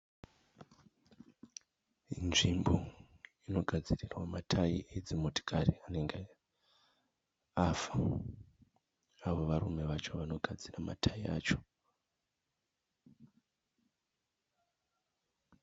Inzvimbo inogadzirirwa matayi edzimotikari anenge afa avo varume vacho vanogadzira matayi acho.